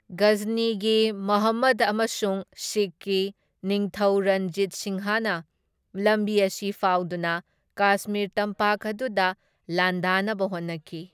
ꯒꯖꯅꯤꯒꯤ ꯃꯥꯍꯃꯨꯗ ꯑꯃꯁꯨꯡ ꯁꯤꯈꯀꯤ ꯅꯤꯡꯊꯧ ꯔꯟꯖꯤꯠ ꯁꯤꯡꯍꯅ ꯂꯝꯕꯤ ꯑꯁꯤ ꯐꯥꯎꯗꯨꯅ ꯀꯥꯁꯃꯤꯔ ꯇꯝꯄꯥꯛ ꯑꯗꯨꯗ ꯂꯥꯟꯗꯥꯅꯕ ꯍꯣꯠꯅꯈꯤ꯫